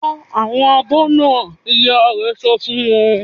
"Fọ àwọn abọ́ náà!" Ìyá rẹ̀ sọ fún wọn.